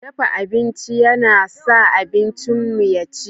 Dafa abinci yana sa abincinmu ya ci.